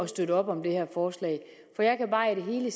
støtte op om det her forslag for jeg kan bare i det hele